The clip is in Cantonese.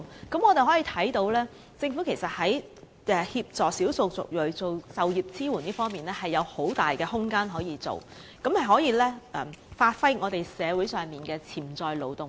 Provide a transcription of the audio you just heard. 由此可見，政府在協助少數族裔就業方面的工作其實仍有很大空間，以發揮社會上的潛在勞動力。